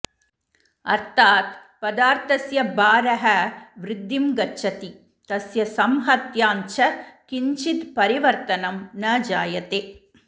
अर्थात् पदार्थस्य भारः वृद्धिं गच्छति तस्य संहत्याञ्च किञ्चिद् परिवर्तनं न जायते